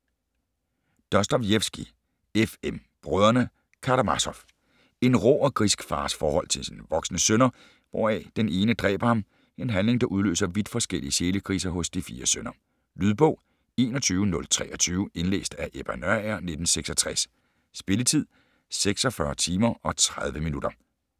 Dostojevskij, F. M.: Brødrene Karamassof En rå og grisk fars forhold til sine voksne sønner hvoraf den ene dræber ham - en handling der udløser vidt forskellige sjælekriser hos de fire sønner. Lydbog 21023 Indlæst af Ebba Nørager, 1966. Spilletid: 46 timer, 30 minutter.